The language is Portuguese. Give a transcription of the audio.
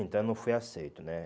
Então eu não fui aceito, né?